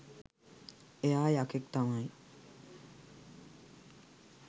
එයා යකෙක් තමයි